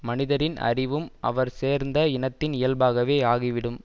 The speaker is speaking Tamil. மனிதரின் அறிவும் அவர் சேர்ந்த இனத்தின் இயல்பாகவே ஆகிவிடும்